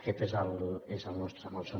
aquest és el nostre malson